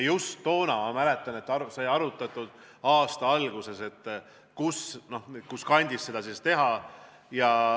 Toona, ma mäletan, sai arutatud aasta alguses, kus kandis seda teha.